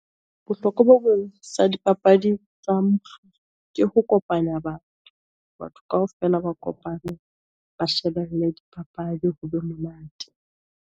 Bohlokwa sa dipapadi, tsa ke ho kopanya batho. Batho kaofela ba kopane ba shebelle dipapadi ho be monate.